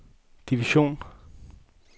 division